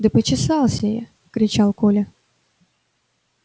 да почесался я кричал коля